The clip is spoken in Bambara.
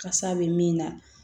Kasa bɛ min na